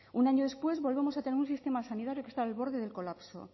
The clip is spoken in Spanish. un año después volvemos a tener un sistema sanitario que está al borde del colapso